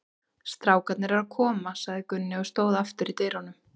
Strákarnir eru að koma, sagði Gunni og stóð aftur í dyrunum.